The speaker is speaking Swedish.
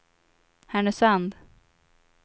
Härnösand